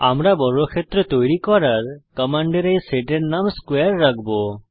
আমরা বর্গক্ষেত্র তৈরী করার কমান্ডের এই সেটের নাম স্কোয়ারে রাখব